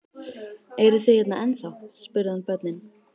Eruð þið hérna ennþá? spurði hann börnin.